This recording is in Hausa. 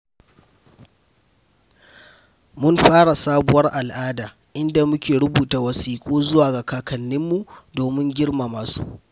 Mun fara sabuwar al’ada inda muke rubuta wasiƙu zuwa ga kakanninmu domin girmama su.